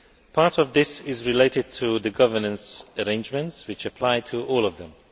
Part of this is related to the governance arrangements which apply to all of them.